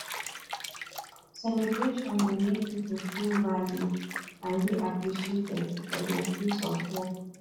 celebration dey make pipo feel valued and dey appreciated for their place of work